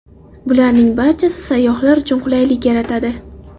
Bularning barchasi sayyohlar uchun qulaylik yaratadi.